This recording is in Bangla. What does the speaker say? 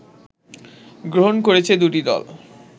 গ্রহণ করেছে দুটি দল